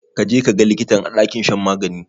Ka je ka ga likitan a ɗakin shan magani?